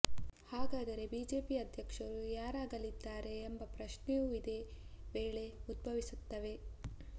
ಹಾಗಾದರೆ ಬಿಜೆಪಿ ಅಧ್ಯಕ್ಷರು ಯಾರಾಗಲಿದ್ದಾರೆ ಎಂಬ ಪ್ರಶ್ನೆಯೂ ಇದೇ ವೇಳೆ ಉದ್ಭವಿಸುತ್ತದೆ